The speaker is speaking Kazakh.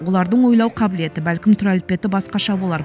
олардың ойлау қабілеті бәлкім түр әлпеті басқаша болар